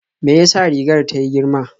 Me ya sa rigar ta yi girma?